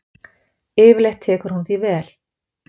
Yfirleitt tekur hún því vel.